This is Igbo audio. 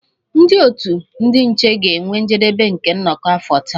Ndị otu ndị nche ga-enwe njedebe nke nnọkọ afọ taa